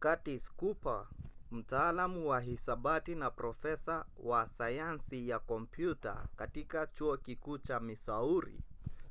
curtis cooper mtaalamu wa hisabati na profesa wa sayansi ya kompyuta katika chuo kikuu cha missouri